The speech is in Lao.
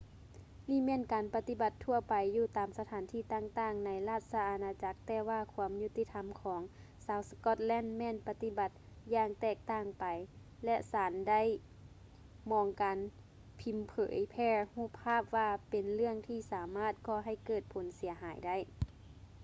ນີ້ແມ່ນການປະຕິບັດທົ່ວໄປຢູ່ຕາມສະຖານທີ່ຕ່າງໆ ໃນລາດຊະອານາຈັກ ແຕ່ວ່າຄວາມຍຸຕິທຳຂອງ ຊາວສະກອດແລນ ແມ່ນປະຕິບັດຢ່າງແຕກຕ່າງໄປ ແລະ ສານໄດ້ມອງການພີມເຜີຍແຜ່ຮູບພາບວ່າ ເປັນເລື່ອງທີ່ສາມາດກໍ່ໃຫ້ເກີດຜົນເສຍຫາຍໄດ້